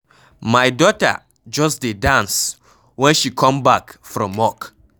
My daughter just dey dance when she come back from work.